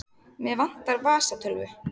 Mig vantar vasatölvu.